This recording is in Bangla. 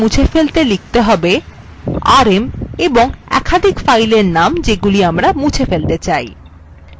একাধিক files মুছে ফেলতে লিখতে হবেrm এবং একাধিক filesএর name যেগুলি আমরা মুছে ফেলতে চাই